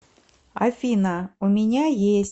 афина у меня есть